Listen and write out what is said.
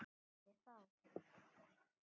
Sagði þá